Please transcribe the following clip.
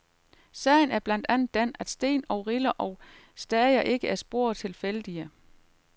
Sagen er blandt andet den, at sten og riller og stager ikke er spor tilfældige.